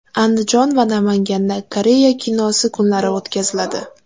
Andijon va Namanganda Koreya kinosi kunlari o‘tkaziladi.